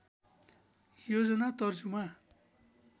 योजना तर्जुमा